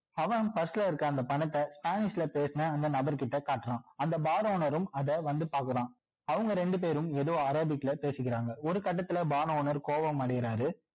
அவன் purse ல இருக்க அந்த பணத்த spanish ல பேசுன அந்த நபர் கிட்ட காட்டுறான் அந்த bar owner ரும் அதை வந்து பார்க்குறான் அவங்க ரெண்டு பேரும் ஏதொ அரேபிக்ல பேசிக்கிறாங்க ஒரு கட்டத்துல bar owner கோபம் அடையிறாரு